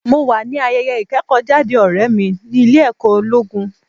Mo wà ní ayẹyẹ ìkẹ́kọ̀ọ́ jáde ọ̀rẹ́ mi ní ilé ẹ̀kọ́ ológun.